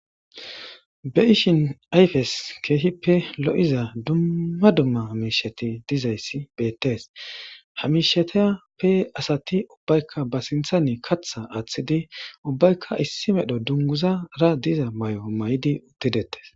Be7ishin ayfez keehipe lo7iza dumma dumma miishshethi dizayssi beeththees; ha miishshathappe asathi ubbaykka ba sinththani kaththaa aaththidi ubbaykka issi medho dungguzara diza moyo mayidi uththi deeththes.